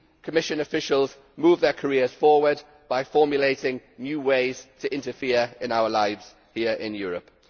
Commission officials move their careers forward by formulating new ways to interfere in our lives here in Europe.